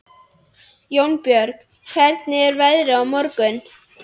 Jónbjörg, hvernig er veðrið á morgun?